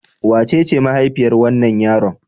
Wacece mahaifiyar wannan yaron?